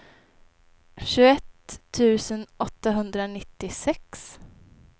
tjugoett tusen åttahundranittiosex